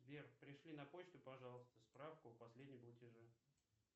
сбер пришли на почту пожалуйста справку о последнем платеже